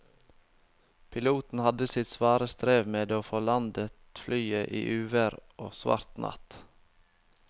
Piloten hadde sitt svare strev med å få landet flyet i uvær og svart natt.